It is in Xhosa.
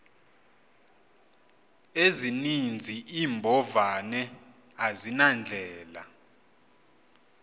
ezininzi iimbovane azinandlela